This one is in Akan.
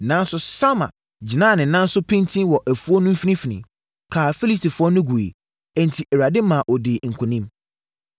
nanso, Sama gyinaa ne nan so pintinn wɔ afuo no mfimfini, kaa Filistifoɔ no guiɛ. Enti, Awurade ma ɔdii nkonim.